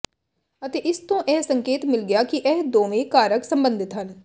ਅਤੇ ਇਸ ਤੋਂ ਇਹ ਸੰਕੇਤ ਮਿਲ ਗਿਆ ਕਿ ਇਹ ਦੋਵੇਂ ਕਾਰਕ ਸਬੰਧਿਤ ਹਨ